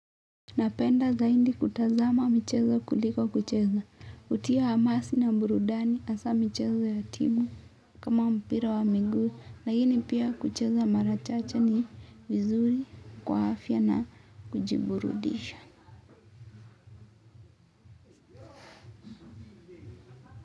Napenda zaidi kutazama michezo kuliko kucheza. Hutia hamasa na burudani hasa michezo ya timu kama mpira wa miguu. Lakini pia kucheza mara chache ni vizuri kwa afya na kujiburudisha.